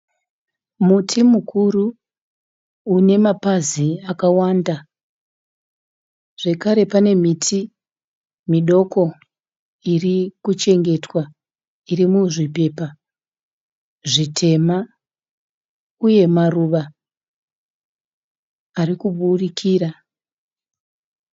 Muti mukuru une mapazi akawanda zvekare pane miti midoko irikuchengetwa iri muzvipepa zvitema uye maruva arikuburikira.